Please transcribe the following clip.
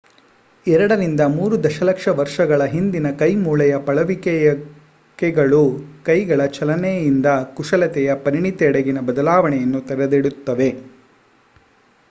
ಎರಡರಿಂದ ಮೂರು ದಶಲಕ್ಷ ವರ್ಷಗಳ ಹಿಂದಿನ ಕೈ ಮೂಳೆಯ ಪಳಿಯುಳಿಕೆಗಳು ಕೈಗಳ ಚಲನೆಯಿಂದ ಕುಶಲತೆಯ ಪರಿಣಿತಿಯೆಡೆಗಿನ ಬದಲಾವಣೆಯನ್ನು ತೆರೆದಿಡುತ್ತವೆ